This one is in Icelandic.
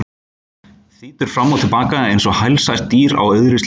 Þýtur fram og til baka einsog helsært dýr á auðri sléttu.